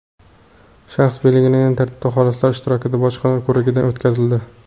shaxs belgilangan tartibda xolislar ishtirokida bojxona ko‘rigidan o‘tkazildi.